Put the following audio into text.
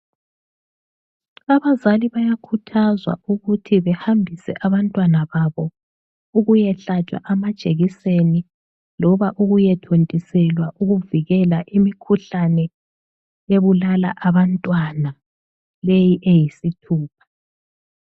Abazali bayakhuthazwa ukuthi behambise abantwana babo ukuyehlatshwa amajekiseni loba ukuyethontiselwa ukuvikela imikhuhlane ebulala abantwana leyi eyisithupha.